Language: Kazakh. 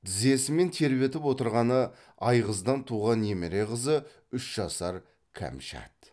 тізесімен тербетіп отырғаны айғыздан туған немере қызы үш жасар кәмшат